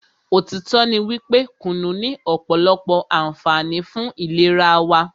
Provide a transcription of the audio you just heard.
òtítọ́ ní wípé kùnú ní ọ̀pọ̀lọpọ̀ ànfààní fún ìlera wa.